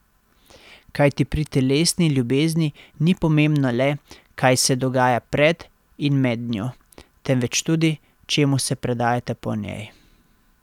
Kajti pri telesni ljubezni ni pomembno le, kaj se dogaja pred in med njo, temveč tudi, čemu se predajata po njej.